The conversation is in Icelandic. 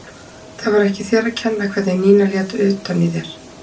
Það var ekki þér að kenna hvernig Nína lét utan í þér.